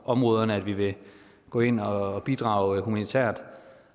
områderne vi vil gå ind og bidrage humanitært